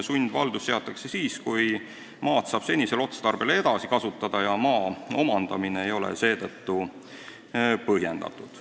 Sundvaldus seatakse siis, kui maad saab senisel otstarbel edasi kasutada ja maa omandamine ei ole seetõttu põhjendatud.